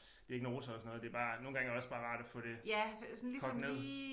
Diagnoser og sådan noget det bare nogle gange er det også bare rart at få det kogt ned